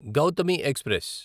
Gautami express